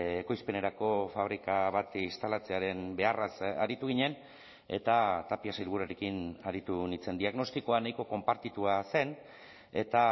ekoizpenerako fabrika bat instalatzearen beharraz aritu ginen eta tapia sailburuarekin aritu nintzen diagnostikoa nahiko konpartitua zen eta